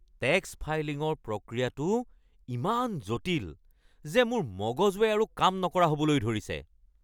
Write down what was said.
Tax ফাইলিঙৰ প্ৰক্ৰিয়াটো ইমান জটিল যে মোৰ মগজুৱে আৰু কাম নকৰা হ'বলৈ ধৰিছে!